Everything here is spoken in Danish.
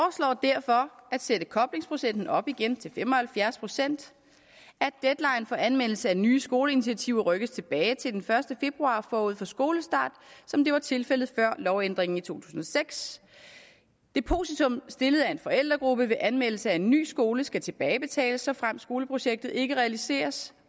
derfor at sætte koblingsprocenten op igen til fem og halvfjerds procent at deadline for anmeldelse af nye skoleinitiativer rykkes tilbage til den første februar forud for skolestart som det var tilfældet før lovændringen i to tusind og seks at depositum stillet af en forældregruppe ved anmeldelse af en ny skole skal tilbagebetales såfremt skoleprojektet ikke realiseres